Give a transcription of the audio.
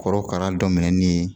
Korokara daminɛnin